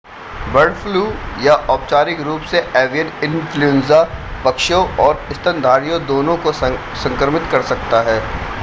bird flu या औपचारिक रूप से एवियन इन्फ्लूएंजा पक्षियों और स्तनधारियों दोनों को संक्रमित कर सकता है